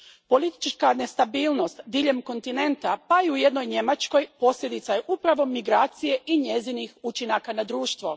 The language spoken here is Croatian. Politička nestabilnost diljem kontinenta, pa i u jednoj Njemačkoj, posljedica je upravo migracije i njezinih učinaka na društvo.